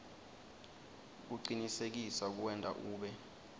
kucinisekisa kuwenta ube